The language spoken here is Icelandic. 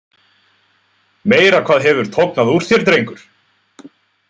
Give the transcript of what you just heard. Meira hvað hefur tognað úr þér, drengur!